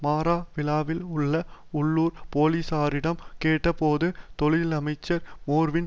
மாரவிலவில் உள்ள உள்ளூர் போலிசாரிடம் கேட்டபோது தொழிலமைச்சர் மேர்வின்